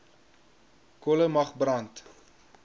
kolle mag brand